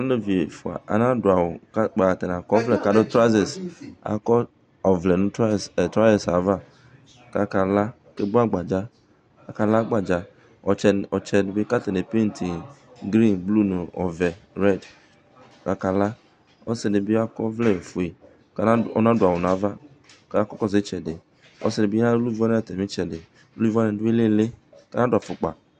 alevi ɛfu ana du awu kò kpa atani akɔ ɔvlɛ k'adu trauzɛs akɔ ɔvlɛ no trauzɛs ava kò aka la ake vu agbadza aka la agbadza ɔtsɛ di bi k'atani e penti yi grin blu no ɔvɛ rɛd kò aka la ɔsi di bi akɔ ɔvlɛ fue k'ɔna du awu n'ava k'ɔka kɔsu itsɛdi ɔsi di bi adu vɛnɛtr no itsɛdi uluvi wani du ilili k'ana du afukpa.